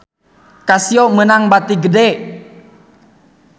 Casio meunang bati gede